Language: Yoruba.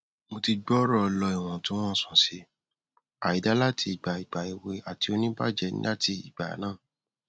mo ti gbooro ọlọ iwọntunwọnsi si àìdá lati igba igba ewe ati onibaje lati igba naa